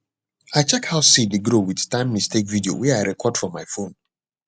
i check how seed dey grow with timemistake video wey i record for my phone